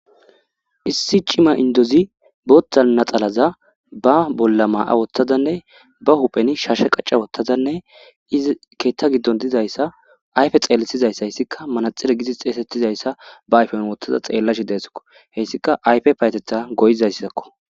issi cima indozi boothta naxalaza ba bolla maa7a wotthadanne ba hupheni sharshe qacca wottazanne izi keetta giddon dizayssa ayfe xeellisizayssa hessika manaxire gizis xeesettizayssa ba ayfen wothtada xeellashi deeskko hessika ayfe payteta goyizayssakko